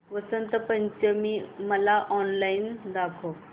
वसंत पंचमी मला ऑनलाइन दाखव